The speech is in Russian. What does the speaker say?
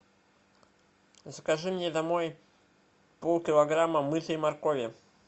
закажи мне домой полкилограмма мытой моркови